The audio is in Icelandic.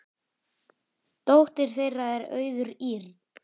Dóttir þeirra er Auður Ýrr.